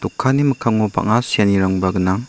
kanni mikkango bang·a seanirangba gnang.